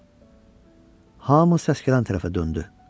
Hamı səs gələn tərəfə döndü.